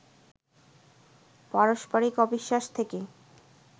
পারস্পরিক অবিশ্বাস থেকে